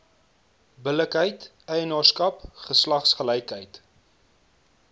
billikheid eienaarskap geslagsgelykheid